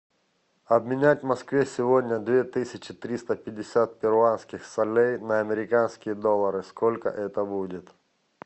обменять в москве сегодня две тысячи триста пятьдесят перуанских солей на американские доллары сколько это будет